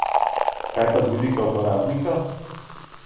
Kaj pa z vidika uporabnika?